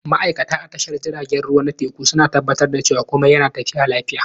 Ma'aikata a tashar jiragen ruwa na teku suna tabbatar da cewa komai yana tafiya lafiya.